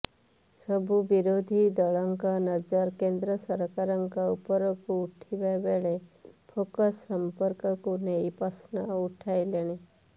ସବୁ ବିରୋଧୀ ଦଳଙ୍କ ନଜର କେନ୍ଦ୍ର ସରକାରଙ୍କ ଉପରକୁ ଉଠିଥିବା ବେଳେ ଫେସ୍ବୁକ୍ ସମ୍ପର୍କକୁ ନେଇ ପ୍ରଶ୍ନ ଉଠାଇଲେଣି